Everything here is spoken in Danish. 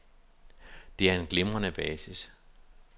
Det er en glimrende basis.